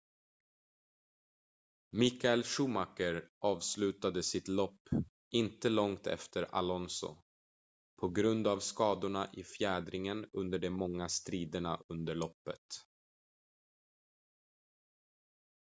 michael schumacher avslutade sitt lopp inte långt efter alonso på grund av skadorna i fjädringen under de många striderna under loppet